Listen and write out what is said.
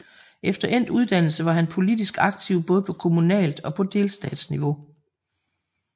Efter endt uddannelse var han politisk aktiv både på kommunalt og på delstatsniveau